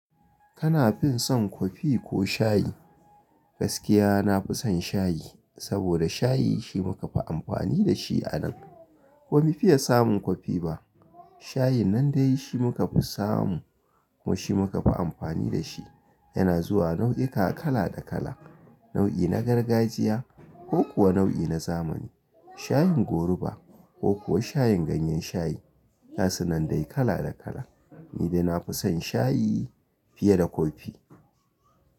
Kana fin son kofi ko shayi? Gaskiya nafi son shayi, saboda shayi shi muka fi amfani da shi a nan. Ba mu fiye samun kofi ba. Shayin nan dai shi muka fi samu kuma shi muka fi amfani da shi. Yana zuwa nau'ika kala da kala, nau'i na gargajiya ko kuwa nau'i na zamani. Shayin goruba ko kuwa shayin ganyen shayi, gasu nan dai kala da kala. Ni dai nafi son shayi fiye da kofi.